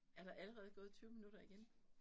Er der allerede gået 20 minutter igen?